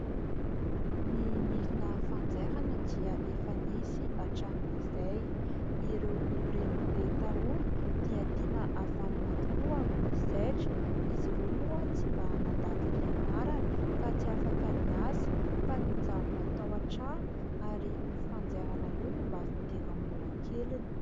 Ny milina fanjairana dia efa nisy hatramin'izay, ireo renibe taloha dia tena havanana tokoa amin'ny zaitra, izy ireo moa tsy mba nandalo fianarana ka tsy afaka niasa fa nijanona tao an-trano ary io fanjairana io no mba fidiram-bola keliny.